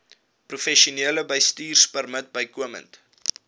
professionele bestuurpermit bykomend